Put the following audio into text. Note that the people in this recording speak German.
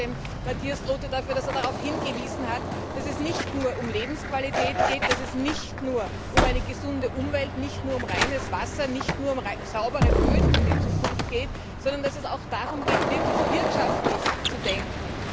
Ich danke Mathias Groote dafür, dass er darauf hingewiesen hat, dass es nicht nur um Lebensqualität geht, dass es nicht nur um eine gesunde Umwelt, reines Wasser und saubere Böden für die Zukunft geht, sondern dass es auch darum geht, wirklich wirtschaftlich zu denken.